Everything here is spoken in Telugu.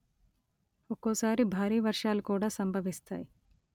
ఒక్కోసారి భారీవర్షాలు కూడా సంభవిస్తాయి